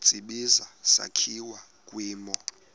tsibizi sakhiwa kwimo